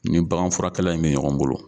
N ni baganfurakɛla in bɛ ɲɔgɔn bolo.